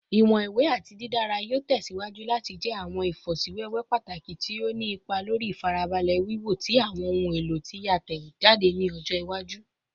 Iwọn iwe ati didara yoo tẹsiwaju lati jẹ awọn ifosiwewe pataki ti o ni ipa lori ifarabalẹ wiwo ti awọn ohun elo ti a tẹjade ni ọjọ iwaju